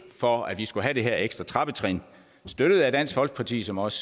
for at vi skulle have det her ekstra trappetrin støttet af dansk folkeparti som også